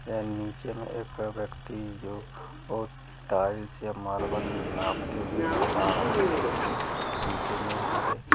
नीचे में एक व्यक्ति जो टाइल्स या मार्बल नापते हुए नजर आ रहा है टेप से पीछे में हरे--